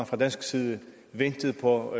fra dansk side ventet på